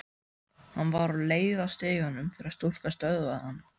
Hann var á leið að stiganum þegar stúlkan stöðvaði hann.